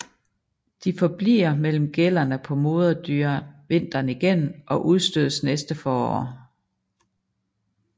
De forbliver mellem gællerne på moderdyret vinteren igennem og udstødes næste forår